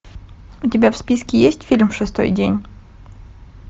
у тебя в списке есть фильм шестой день